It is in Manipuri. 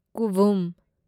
ꯀꯨꯚꯨꯝ